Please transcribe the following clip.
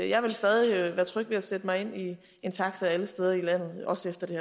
jeg vil stadig være tryg ved at sætte mig ind i en taxa alle steder i landet også efter det